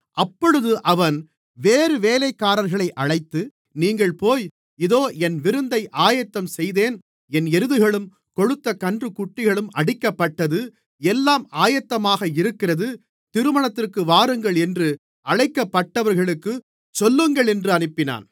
அப்பொழுது அவன் வேறு வேலைக்காரர்களை அழைத்து நீங்கள் போய் இதோ என் விருந்தை ஆயத்தம் செய்தேன் என் எருதுகளும் கொழுத்த கன்றுக்குட்டிகளும் அடிக்கப்பட்டது எல்லாம் ஆயத்தமாக இருக்கிறது திருமணத்திற்கு வாருங்கள் என்று அழைக்கப்பட்டவர்களுக்குச் சொல்லுங்களென்று அனுப்பினான்